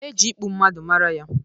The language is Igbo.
E ji ịkpụ mmadụ mara ya